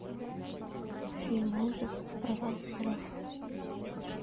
фильм ужасов про вампиров